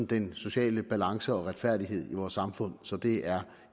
den sociale balance og retfærdighed i vores samfund så det er